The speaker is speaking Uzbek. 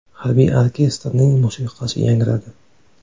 Harbiy orkestrning musiqasi yangradi.